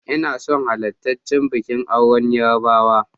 Ina son halartarchi bikin auren Yarbawa.